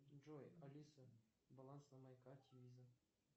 джой алиса баланс на моей карте виза